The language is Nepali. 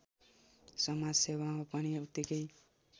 समाजसेवामा पनि उत्तिकै